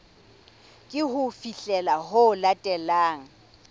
ke ho fihlela ho latelang